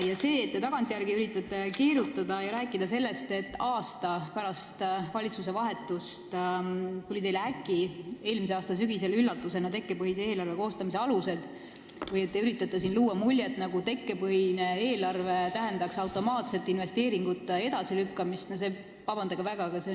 Ja see, et te tagantjärele üritate keerutada ja rääkida sellest, et aasta pärast valitsuse vahetust tulid teile äkki eelmise aasta sügisel üllatusena tekkepõhise eelarve koostamise alused, või luua muljet, nagu tähendaks tekkepõhine eelarve automaatselt investeeringute edasilükkamist, on – vabandage väga!